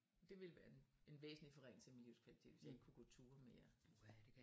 Det ville være en en væsentlig forringelse af min livskvalitet hvis jeg ikke kunne gå ture mere